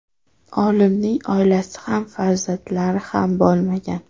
Olimning oilasi ham farzandlari ham bo‘lmagan.